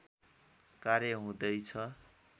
कार्य हुँदैछ